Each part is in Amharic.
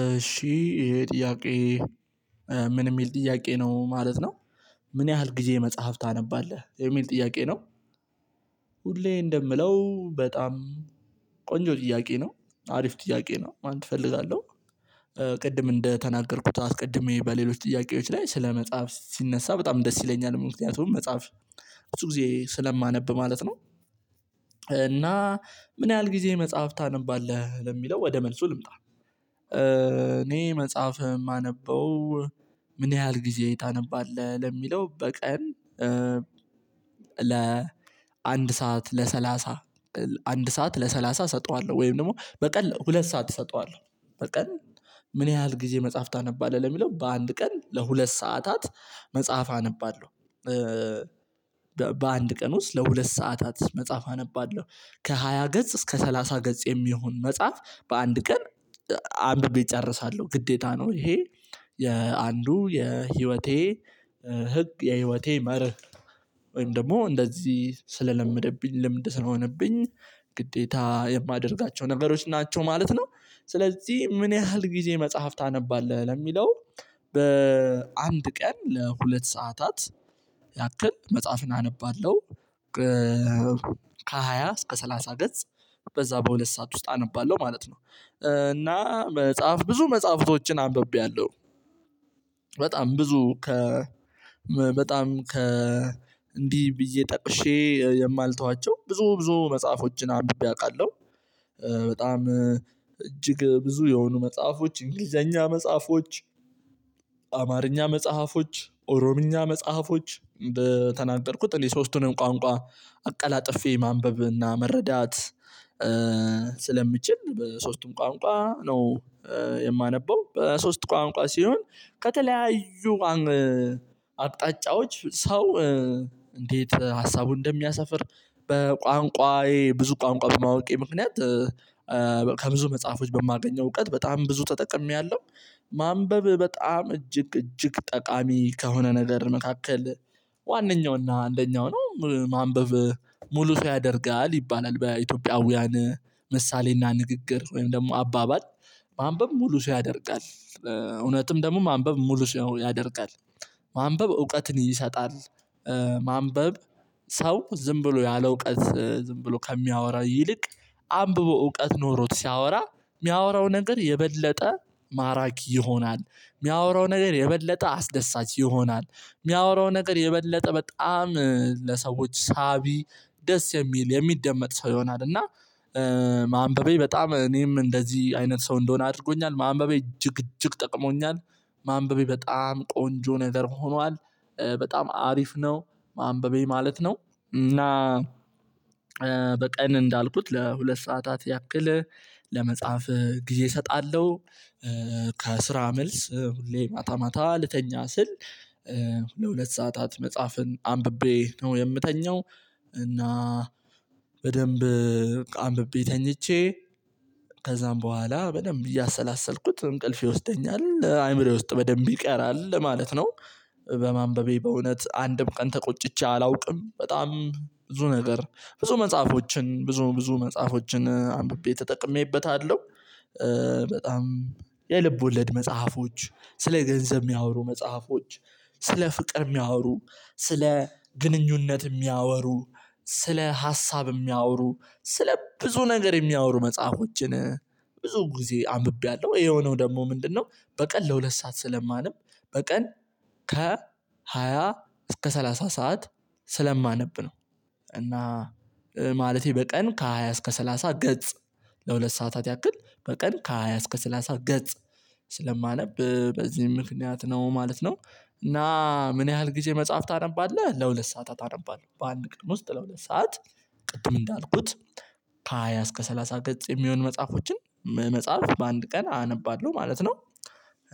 እሺ ይሄ ጥያቄ። ምን የሚል ጥያቄ ነው ማለት ነው። ምን ያህል ጊዜ መጽሐፍ ታነባለህ የሚል ጥያቄ ነው። ሁሌ እንደምለው በጣም ቆንጆ ጥያቄ ነው አሪፍ ጥያቄ ነው ማለት እፈልጋለሁ። ቅድም እንደተናገርኩት አስቀድሜ በሌሎች ጥያቄዎች ላይ ስለ መጽሐፍ ሲነሳ በጣም ደስ ይለኛል ምክንያቱም መጽሐፍ ብዙ ጊዜ ስለማነብ ማለት ነው። እና ምን ያህል ጊዜ መጽሐፍ ታነባለህ የሚለው ወደ መልሱ ልምጣ። እኔ መጽሐፍ የማነበው ምን ያህል ጊዜ ታነባለህ ለሚለው በቀን ለአንድ ሰዓት ለሰላሳ አንድ ሰዓት ለሰላሳ እሰጠዋለሁ ወይም ደግሞ በቀን ሁለት ሰዓት እሰጠዋለሁ። በቀን ምን ያህል ጊዜ መጽሐፍ ታነባለህ ለሚለው በአንድ ቀን ለሁለት ሰዓታት መጽሐፍ አነባለሁ። በአንድ ቀን ውስጥ ለሁለት ሰዓታት መጽሐፍ አነባለሁ። ከሃያ ገጽ እስከ ሰላሳ ገጽ የሚሆን መጽሐፍ በአንድ ቀን። አንብቤ እጨርሳለሁ ግዴታ ነው ይሄ የአንዱ የህይወቴ ህግ የህይወቴ መርህ። ወይም ደግሞ እንደዚህ ስለለመደብኝ ለምን ስለሆነብኝ ግዴታ የማደርጋቸው ነገሮች ናቸው ማለት ነው። ስለዚህ ምን ያህል ጊዜ መጽሐፍ ታነባለህ ለሚለው በአንድ ቀን ለሁለት ሰዓታት ያክል መጽሐፍን አነባለሁ። ከሃያ እስከ ሰላሳ ገጽ በዛ በሁለት ሰዓት ውስጥ አነባለሁ ማለት ነው። እና መጽሐፍ ብዙ መጽሐፍቶችን አንብቤያለሁ። በጣም ብዙ ከ በጣም ከ እንዲህ ብዬ ጠቅሼ የማልተዋቸው ብዙ ብዙ መጽሐፎችን አብቤ አውቃለሁ አለው በጣም እጅግ ብዙ የሆኑ መጽሐፎች እንግሊዘኛ መጽሐፎች። መጽሐፎች ኦሮምኛ መጽሐፎች በተናገርኩ እኔ የሶስቱንም ቋንቋ አቀላጥፌ ማንበብ እና መረዳት ስለሚችል ሶስቱም ቋንቋ ነው። የማነበው በሶስት ቋንቋ ሲሆን ከተለያዩ እ አቅጣጫዎች ሰው እንዴት ሀሳቡን እንደሚያሰፍር በቋንቋዬ ብዙ ቋንቋ በማወቄ ምክንያት ከብዙ መጽሐፎች በማገኘው እውቀት በጣም ብዙ ተጠቅሜያለሁ። ማንበብ በጣም እጅግ እጅግ ጠቃሚ ከሆነ ነገር መካከል ዋናውና አንደኛው ነው። ማንበብ ሙሉ ሰው ያደርጋል ይባላል በኢትዮጵያውያን ምሳሌና ንግግር ወይም ደግሞ አባባል። ማንበብ ሙሉ ሰው ያደርጋል እውነትም ደግሞ ማንበብ ሙሉ ሰው ያደርጋል። ማንበብ እውቀትን ይሰጣል። ማንበብ ሰው ዝም ብሎ ያለ እውቀት ዝም ብሎ ከሚያወራ ይልቅ አንብቦ እውቀት ኖሮት ሲያወራ የሚያወራው ነገር የበለጠ ማራኪ ይሆናል። የሚያወራው ነገር የበለጠ አስደሳች ይሆናል። የሚያወራው ነገር የበለጠ በጣም ለሰዎች ሳቢ ደስ የሚል የሚደመጥ ሰው ይሆናል። እና ማንበቤ በጣም እኔም እንደዚህ አይነት ሰው እንደሆነ አድርጎኛል። ማንበቤ እጅግ እጅግ ጠቅሞኛል። ማንበቤ በጣም ቆንጆ ነገር ሆኗል። በጣም አሪፍ ነው። ማንበቤ ማለት ነው። እና በቀን እንዳልኩት ለሁለት ሰዓታት ያክል ለመጽሐፍ ጊዜ እሰጣለሁ። ከስራ መልስ ሁሌ ማታ ማታ ልተኛ ስል ለሁለት ሰዓታት መጽሐፍን አንብቤ ነው የምተኛው። በደንብ አንብቤ ተኝቼ ከዛም በኋላ በደንብ እያሰላሰልኩት እንቅልፍ ይወስደኛል አእምሮየ ውስጥ በደንብ ይቀራል ማለት ነው። በማንበቤ በእውነት አንድም ቀን ተቆጭቼ አላውቅም። በጣም ብዙ ነገር ብዙ መጽሐፎችን ብዙ ብዙ መጽሐፎችን አንብቤ ተጠቅሜበታለሁ። በጣም የልብ ወለድ መጽሐፎች ስለ ገንዘብ የሚያወሩ መጽሐፎች ስለ ፍቅር የሚያወሩ ስለ ግንኙነት የሚያወሩ ስለ ሀሳብ የሚያወሩ ስለ ብዙ ነገር የሚያወሩ መጽሐፎችን ብዙ ጊዜ አንብቤያለሁ የሆነው ደግሞ ምንድነው? በቀን ለሁለት ሰዓት ስለማነብ በቀን ከ ሃያ እስከ ሰላሳ ሰዓት ስለማነብ ነው። እና ማለቴ በቀን ከሃያ እስከ ሰላሳ ገጽ ለሁለት ሰዓታታት ያክል በቀን ከሃያ እስከ ሰላሳ ገጽ ስለማነብ በዚህ ምክንያት ነው ማለት ነው። እና ምን ያህል ጊዜ መጽሐፍ ታነባለህ? ለሁለት ሰዓታት አነባለሁ በአንድ ቀን ውስጥ ለሁለት ሰዓት ቅድም እንዳልኩት ከሃያ እስከ ሰላሳ ገጽ የሚሆን መጽሐፎችን መጽሐፍ በአንድ ቀን አነባለሁ ማለት ነው።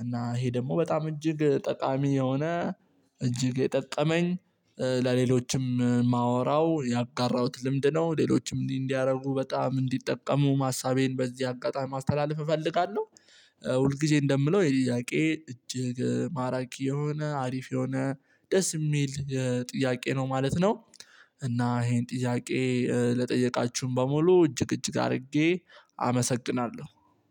እና ይሄ ደግሞ በጣም እጅግ ጠቃሚ የሆነ እጅግ የጠቀመኝ ለሌሎችም የማወራው ያጋራሁት ልምድ ነው ሌሎችም እንዲህ እንዲያደርጉ በጣም እንዲጠቀሙ ኣሳቤን በዚህ አጋጣሚ ማስተላለፍ እፈልጋለሁ። ሁል ጊዜ እንደምለው የህ ጥያቄ እጅግ ማራኪ የሆነ አሪፍ የሆነ ደስ የሚል ጥያቄ ነው ማለት ነው። እና ይሄን ጥያቄ ለጠየቃችሁ በሙሉ እጅግ እጅግ አድርጌ አመሰግናለሁ።